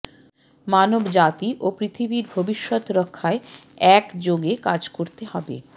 মানবজাতি ও পৃথিবীর ভবিষ্যৎ রক্ষায় একযোগে কাজ করতে হবে